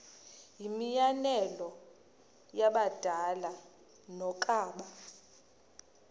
yimianelo yabadala yokaba